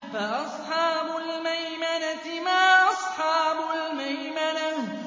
فَأَصْحَابُ الْمَيْمَنَةِ مَا أَصْحَابُ الْمَيْمَنَةِ